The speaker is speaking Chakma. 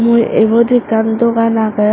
mui ebot ekkan dogan agey.